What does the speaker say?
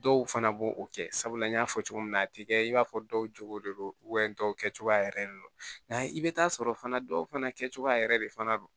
Dɔw fana b'o o kɛ sabula n y'a fɔ cogo min na a ti kɛ i b'a fɔ dɔw jogo de don dɔw kɛcogoya yɛrɛ de don nka i bi taa sɔrɔ fana dɔw fana kɛcogo yɛrɛ de fana don